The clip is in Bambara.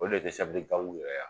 O de desɛbili kangu yɛrɛ ya